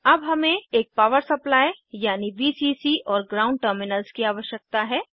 अब हमें एक पावर सप्लाई यानी वीसीसी और ग्राउंड टर्मिनल्स की आवश्यकता है